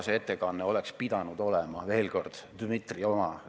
Veel kord: see oleks pidanud Dmitri ettekande teema olema.